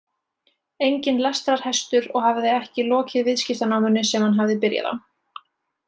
Enginn lestrarhestur og hafði ekki lokið viðskiptanáminu sem hann hafði byrjað á.